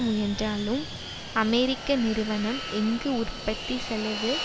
முயன்றாலும் அமெரிக்க நிறுவனம் எங்கு உற்பத்தி செலவு